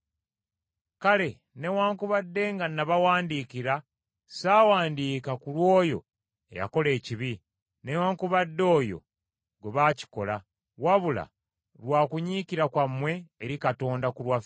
Kale newaakubadde nga nabawandiikira ssawandiika ku lw’oyo eyakola ekibi, newaakubadde oyo gwe bakikola, wabula lwa kunyiikira kwammwe eri Katonda ku lwaffe.